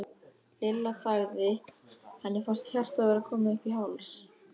Lilla þagði, henni fannst hjartað vera komið upp í háls.